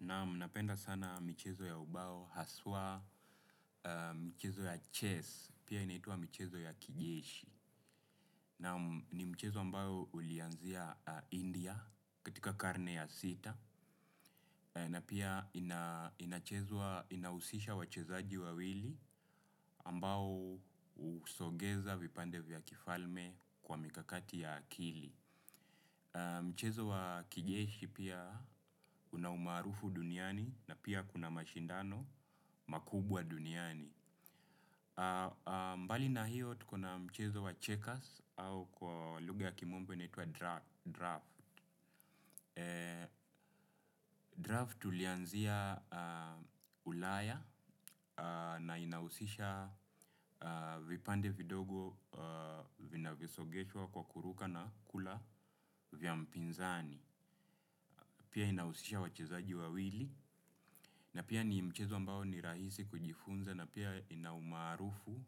Naam napenda sana michezo ya ubao haswa michezo ya chess, pia inaitwa michezo ya kijeshi. Naam ni michezo ambayo ulianzia India katika karne ya sita, na pia inachezwa inahusisha wachezaji wawili ambao husogeza vipande vya kifalme kwa mikakati ya akili. Mchezo wa kijeshi pia una umaarufu duniani na pia kuna mashindano makubwa duniani. Mbali na hiyo tuko na mchezo wa checkers au kwa lugha kimombo inaitwa draft Draft tulianzia ulaya na inahusisha vipande vidogo vinavyosogeshwa kwa kuruka na kula vya mpinzani. Pia inahusisha wachezaji wawili na pia ni mchezo ambao ni rahisi kujifunza na pia ina umaarufu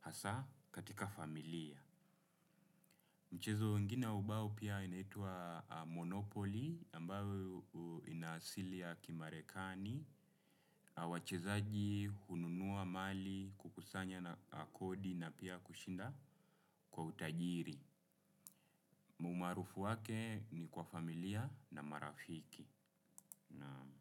hasa katika familia. Mchezo ingine wa ubao pia inaitwa monopoly ambayo ina asili ya kimarekani wachezaji hununua kukusanya kodi na pia kushinda kwa utajiri. Umaarufu wake ni kwa familia na marafiki naam.